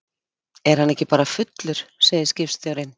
Er hann ekki bara fullur, segir skipstjórinn.